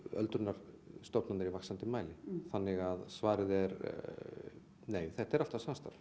öldrunarstofnanir í vaxandi mæli þannig að svarið er nei þetta er alltaf samstarf